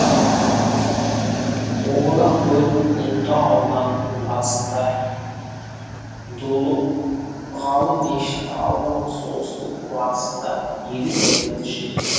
обала көл ұлытау ауданының батысында дулы ғалы мешіт ауылының солтүстік батысында елу километр жерде